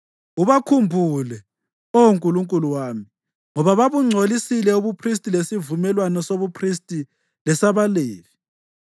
Ubakhumbule, Oh Nkulunkulu wami, ngoba babungcolisile ubuphristi lesivumelwano sobuphristi lesabaLevi.